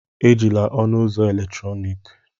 Ejila ọnụ ụzọ eletrọnịkị!